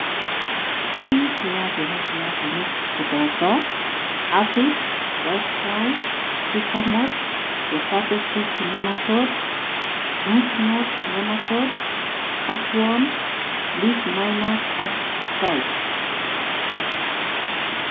tyong'ik che yaachen eng' piasinik koboto:Aphids, white flies, tuber moth, potato cyst nematodes , root knot nematodes, cutworms, leaf miners ak thrips